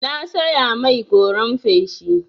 Na saya mai goran feshi.